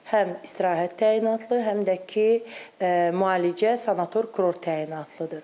Həm istirahət təyinatlı, həm də ki, müalicə, sanator kurort təyinatlıdır.